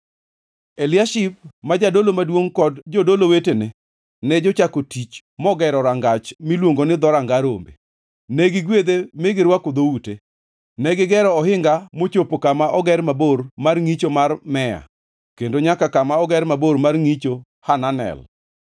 Eliashib ma jadolo maduongʼ kod jodolo wetene ne jochako tich mogere rangach miluongo ni Dhoranga Rombe. Ne gigwedhe mi girwako dhoute, negigero ohinga mochopo kama oger mabor mar ngʼicho mar Mea kendo nyaka kama oger mabor mar ngʼicho Hananel.